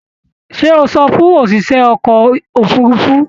Ṣé o sọ fún òṣìṣẹ́ ọkọ̀ òfurufu?